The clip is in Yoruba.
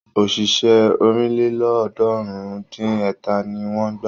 Òṣìṣẹ́ ọ̀rìnlélọ́ọ̀ọ́dúnrún-dín-ẹ̀ta ni wọ́n gbà.